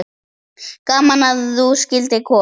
Gaman að þú skyldir koma.